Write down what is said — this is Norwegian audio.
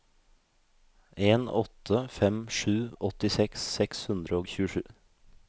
en åtte fem sju åttiseks seks hundre og tjuesju